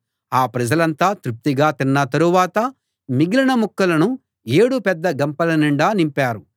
ఆ ప్రజలంతా తృప్తిగా తిన్న తరువాత మిగిలిన ముక్కలను ఏడు పెద్ద గంపల నిండా నింపారు